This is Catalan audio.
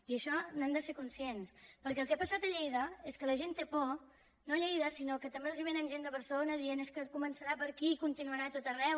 i d’això n’hem de ser conscients perquè el que ha passat a lleida és que la gent té por no a lleida sinó que també els vénen gent de barcelona que diu és que es començarà per aquí i continuarà a tot arreu